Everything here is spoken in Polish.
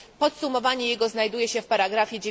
Podsumowanie jego znajduje się w paragrafie